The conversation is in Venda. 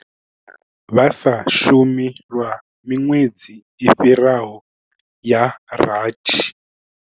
Vha sa shumi lwa miṅwedzi i fhiraho ya rathi.